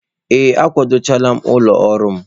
Ee, akwado chaala m ụlọ ọrụ m.